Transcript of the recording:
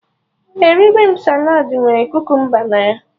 Eriri m saladị nwere kukumba na ya